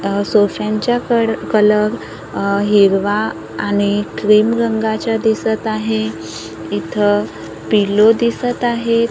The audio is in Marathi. अ सोसांच्या कड कलर अ हिरवा आणि क्रीम रंगाच्या दिसत आहे इथ पिल्लु दिसत आहेत.